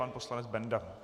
Pan poslanec Benda.